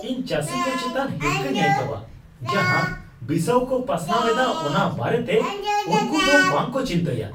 ᱤᱧ ᱪᱟᱹᱥᱤ ᱠᱚ ᱪᱮᱛᱟᱱ ᱦᱤᱨᱠᱷᱟᱹᱧ ᱟᱹᱭᱠᱟᱹᱣᱟ ᱡᱟᱦᱟ ᱵᱤᱥᱟᱹᱣ ᱠᱚ ᱯᱟᱥᱱᱟᱣ ᱮᱫᱟ ᱚᱱᱟ ᱵᱟᱨᱮᱛᱮ ᱩᱱᱠᱩᱫᱚ ᱵᱟᱝᱠᱚ ᱪᱤᱱᱛᱟᱹᱭᱟ ᱾